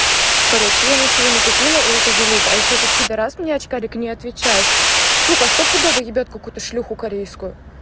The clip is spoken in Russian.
короче я ничего не купила и это залупа ещё этот пидарас мне очкарик не отвечают сука стопудов ебет какую-то шлюху корейскую